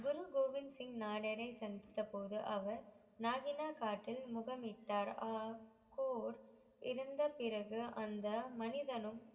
குரு கோவிந்த் சிங் நானறையை சந்தித்த போது அவர் நாஜினா முகமித்தார் ஆஹ் கோர் இறந்த பிறகு அந்த மனிதனும்